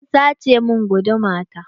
An sace min guduma ta.